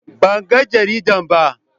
Banga jaridan ba.